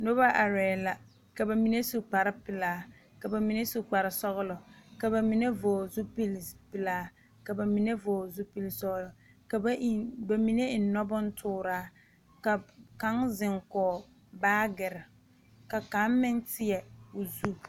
Noba arɛɛ la ka ba mine su kparepelaa ka ba mine su kparesɔglɔ ka ba mine vɔgle zupilipelaa ka ba mine vɔgle zupilisɔglɔ ka ba eŋ ba mine eŋ nubontooraa ka kaŋ zeŋ kɔge baagere ka kaŋ meŋ teɛ o zu.